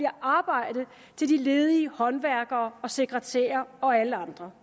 arbejde til de ledige håndværkere og sekretærer og alle andre